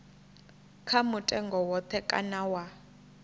kha mutengo woṱhe kana wa